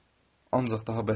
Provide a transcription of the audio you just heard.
Ancaq daha bəsdir.